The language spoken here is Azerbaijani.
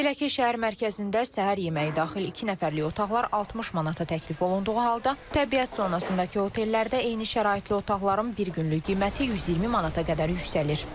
Belə ki, şəhər mərkəzində səhər yeməyi daxil iki nəfərlik otaqlar 60 manata təklif olunduğu halda, təbiət zonasındakı otellərdə eyni şəraitli otaqların bir günlük qiyməti 120 manata qədər yüksəlir.